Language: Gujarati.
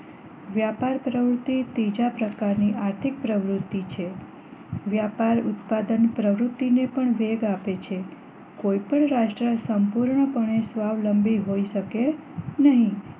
વ્યાપાર પ્રવૃત્તિ ત્રીજા પ્રકારની આર્થિક પ્રવૃત્તિ છે વ્યાપાર ઉત્પાદન પ્રવૃત્તિ ને પણ વેગ આપે છે કોઈ પણ રાષ્ટ્ર સંપૂર્ણ પણે સ્વાવલંબી હોય શકે નહી